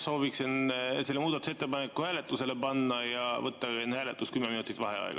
Sooviksin selle muudatusettepaneku hääletusele panna ja võtta enne hääletust kümme minutit vaheaega.